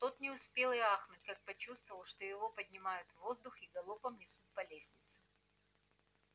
тот не успел и ахнуть как почувствовал что его поднимают в воздух и галопом несут по лестнице